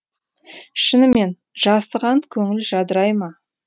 шынымен жасыған көңіл жадырай ма